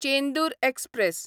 Chendur express